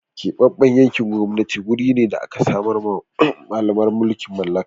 Keɓaɓɓen yankin gwamnati guri ne da da aka samarwa Mallaman mulkin mallaka.